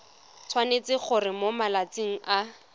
tshwanetse gore mo malatsing a